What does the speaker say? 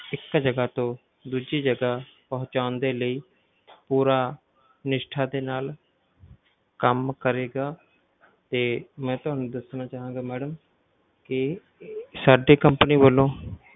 ਇੱਕ ਜਗਾ ਤੋਂ ਦੂਜੀ ਜਗਾ ਪਹੁੰਚਾਉਣ ਦੇ ਲਈ ਪੂਰਾ ਨਿਸ਼ਠਾ ਦੇ ਨਾਲ ਕੰਮ ਕਰੇਗਾ ਤੇ ਮੈ ਤੁਹਾਨੂੰ ਦੱਸਣਾ ਚਾਹਾਂਗਾ madam ਕਿ ਸਾਡੀ company ਵੱਲੋਂ